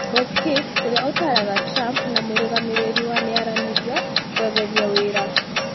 Hope Hicks ũrĩa ũtaraaga Trump na mũrũgamĩrĩri wa mĩaranĩrio kweeheria wĩra.